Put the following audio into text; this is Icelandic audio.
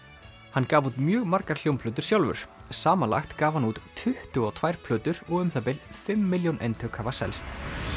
hann gaf út mjög margar hljómplötur sjálfur samanlagt gaf hann út tuttugu og tvær plötur og um það bil fimm milljón eintök hafa selst